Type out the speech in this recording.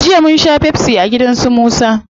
Jiya munsha pepsi a gida su musa